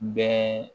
Bɛn